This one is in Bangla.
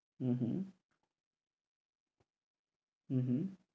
উম হম হম হম